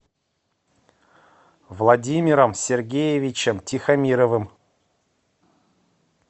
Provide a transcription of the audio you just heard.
владимиром сергеевичем тихомировым